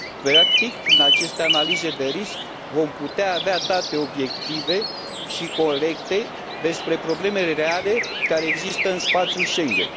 Practic, prin aceste analize de risc vom putea avea date obiective și corecte despre problemele reale care există în spațiul Schengen.